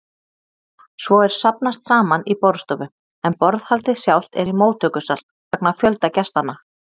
Svo er safnast saman í borðstofu, en borðhaldið sjálft er í móttökusal, vegna fjölda gestanna.